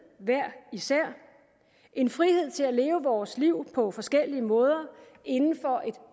hver især en frihed til at leve vores liv på forskellige måder inden for et